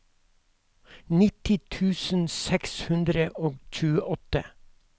nitti tusen seks hundre og tjueåtte